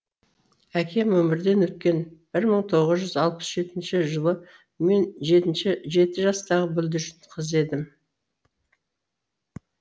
әкем өмірден өткен мың тоғыз жүз алпыс жетінші жылы мен жеті жастағы бүлдіршін қыз едім